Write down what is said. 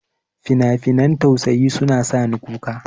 Finafinan tausaya suna sa ni kuka.